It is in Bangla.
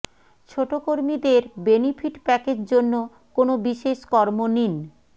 ছোট কর্মীদের বেনিফিট প্যাকেজ জন্য কোন বিশেষ কর্ম নিন